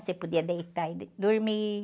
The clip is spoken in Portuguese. Você podia deitar e de, dormir.